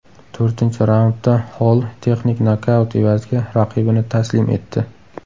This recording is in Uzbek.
To‘rtinchi raundda Holl texnik nokaut evaziga raqibini taslim etdi.